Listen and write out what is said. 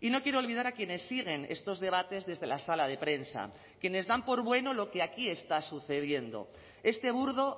y no quiero olvidar a quienes siguen estos debates desde la sala de prensa quienes dan por bueno lo que aquí está sucediendo este burdo